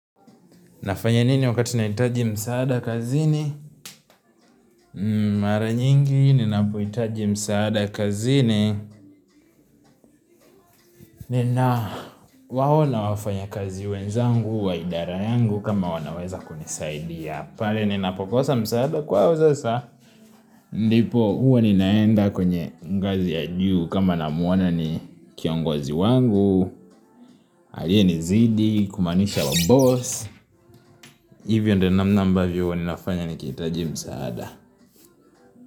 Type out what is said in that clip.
Nafanya nini wakati nahitaji msaada kazini? Mara nyingi, ninapohitaji msaada kazini. Ninawaona wafanyikazi wenzangu, wa idara yangu, kama wanaweza kunisaidia. Pale, ninapokosa msaada kwao sasa. Ndipo, huwa ninaenda kwenye ngazi ya juu, kama namuona ni kiongozi wangu, alienizidi, kumaanisha wa boss. Hivyo ndiobnamna ambavyo huwa ninafanya nikihitaji msaada.